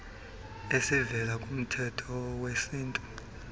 ezivela kumthetho wesintu